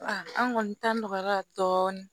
an kɔni ta nɔgɔyara dɔɔni